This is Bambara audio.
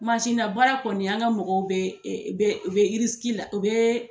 na baara kɔni , an ka mɔgɔw be, u be la u be ee